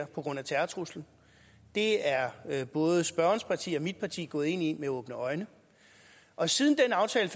på grund af terrortruslen det er er både spørgerens parti og mit parti gået ind i med åbne øjne og siden aftalen